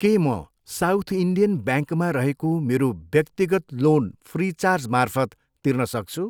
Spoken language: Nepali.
के म साउथ इन्डियन ब्याङ्कमा रहेको मेरो व्यक्तिगत लोन फ्रिचार्जमार्फत तिर्न सक्छु?